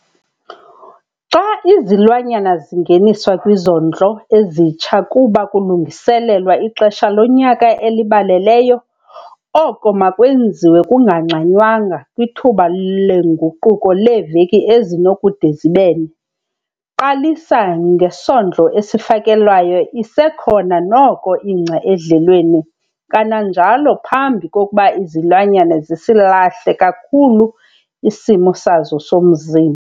Xa izilwanyana zingeniswa kwizondlo ezitsha kuba kulungiselelwa ixesha lonyaka elibaleleyo, oko makwenziwe kungangxanywanga kwithuba lenguquko leeveki ezinokude zibe ne. Qalisa ngesondlo esifakelwayo isekhona noko ingca edlelweni kananjalo phambi kokuba izilwanyana zisilahle kakhulu isimo sazo somzimba.